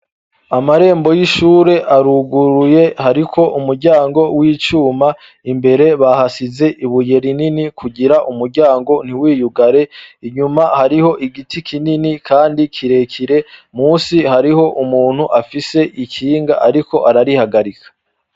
amarembo y'ishure aruguruye hariko umuryango w'icuma imbere bahasize ibuye rinini kugira umuryango ntiwiyugare inyuma hariho igiti kinini kandi kirekire musi hariho umuntu afise ikinga ariko ararihagarika